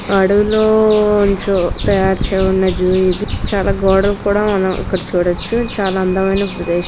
అడవిలో ఉంచు జూ ఇది చాల గోడలు కూడా మనం చూడొచ్చు. చాల అందమైన ప్రదేశం.